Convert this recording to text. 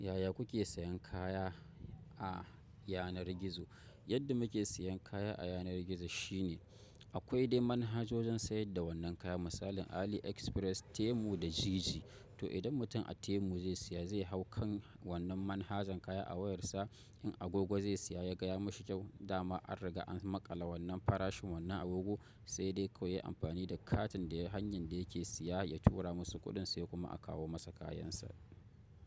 Yaya kuke sayan kaya a yanar gizo? Yadda muke siyan kaya a yanar gizo shine aƙwai dai manhajojin sayar da wannan kaya, misalin AliExpress, Temu da Jiji. To idan mutum a Temu zai siya zai hau kan wannan manhajan kaya a wayar sa, in agogo zai siya yaga ya mishi ƙyau dama an riga an maƙala wannan farashin wannan agogo, sai dai kawai yayi amfani da katin da hanyar da yake siya ya tura musu kuɗin sai kuma a kawo masa kayan sa.